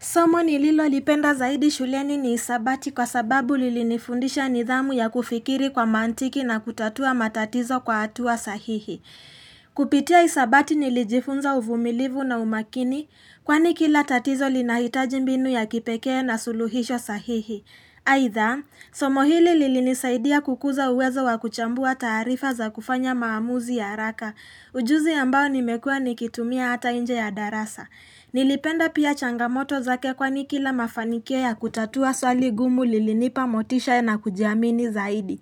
Somo nililolipenda zaidi shuleni ni hisabati kwa sababu lilinifundisha nidhamu ya kufikiri kwa mantiki na kutatua matatizo kwa hatua sahihi. Kupitia hisabati nilijifunza uvumilivu na umakini kwani kila tatizo linahitaji mbinu ya kipekee na suluhisho sahihi. Aitha, somo hili lilinisaidia kukuza uwezo wa kuchambua tarifa za kufanya maamuzi ya raka ujuzi ambao nimekua nikitumia hata inje ya darasa. Nilipenda pia changamoto zake kwani kila mafanikio ya kutatua swali ngumu lilinipa motisha na kujiamini zaidi